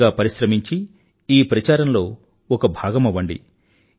స్వయంగా పరిశ్రమించి ఈ ప్రచారంలో ఒక భాగమవ్వండి